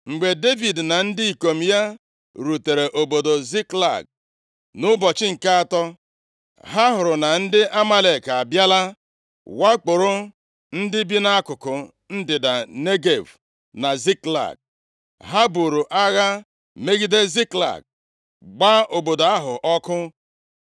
Mgbe Devid na ndị ikom ya rutere obodo Ziklag nʼụbọchị nke atọ, ha hụrụ na ndị Amalek abịala wakporo bi nʼakụkụ ndịda Negev na Ziklag. Ha buru agha megide Ziklag, gbaa obodo ahụ ọkụ,